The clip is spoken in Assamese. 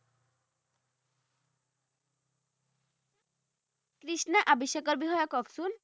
কৃষ্ণা আভিষেকৰ বিষয়ে কওকচোন